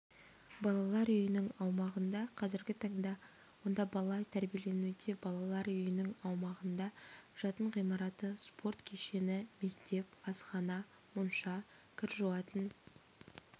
балалар үйінің аумағы га қазіргі таңда онда бала тәрбиеленуде балалар үйінің аумағында жатын ғимараты спорт кешені мектеп асхана монша кір жуатын